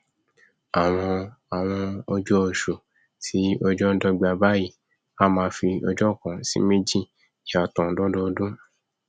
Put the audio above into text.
àwọn àwọn ọjọ ọṣù tí ọjọ ndọgba báyìí a máa fi ọjọ kan sí méjì yàtọ lọdọọdún